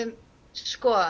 sko